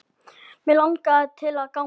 Mig langaði til að ganga